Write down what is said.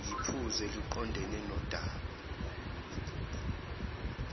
yiphuzu eliqondene nodaba